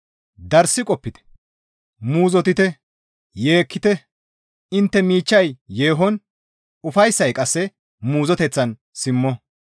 Darssi qopite; muuzottite; yeekkite; intte miichchay yeehon, ufayssay qasse muuzoteththan simmo.